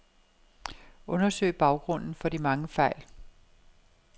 Undersøg baggrunden for de mange fejl.